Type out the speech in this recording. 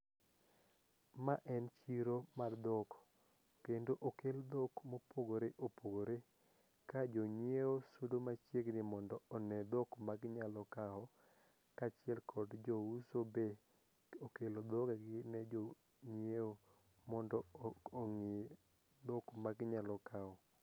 Ma en chiro mar dhok kendo okel dhok mopogore opogore ka jonyieo sudo machiegni mondo one dhok maginyalo kawo kaachiel kod jouso be okelo dhogegi ne jonyieo mondo ong'i dhok maginyalo kawo.